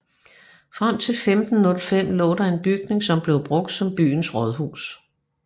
Frem til 1505 lå der en bygning som blev brugt som byens rådhus